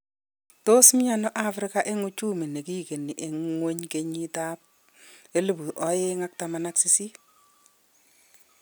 Tos mi ano Afrika eng uchumi nikigeni eng ngwony kenyit ab 2018